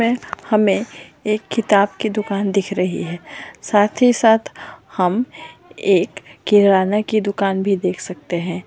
वह हमे एक किताब की दुकान दिख रही है साथ ही साथ हम एक किराना की दुकान भी देख सकते है।